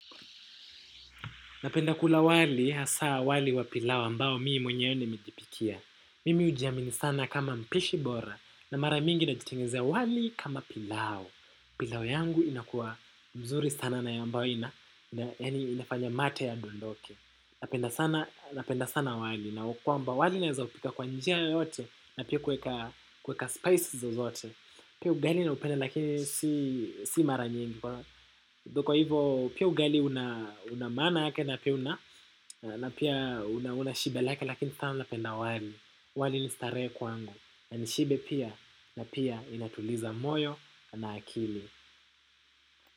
Napenda kula wali, hasa wali wa pilau ambao mimi mwenye nimejipikia. Mimi hujiamini sana kama mpishi bora na mara mingi na jitengenezea wali kama pilau. Pilau yangu inakua mzuri sana na ambayo inafanya mate ya dondoke. Napenda sana wali na wa kwamba wali naeza upika kwa njia yoyote na pia kuweka spices zozote. Pia ugali na upenda lakini si mara nyingi. Kwa hivyo pia ugali una maana yake na pia unashiba lake lakini sana napenda wali. Wali nistarehe kwangu. Na nishibe pia na pia inatuliza moyo na akili.